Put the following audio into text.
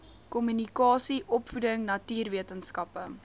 kommunikasie opvoeding natuurwetenskappe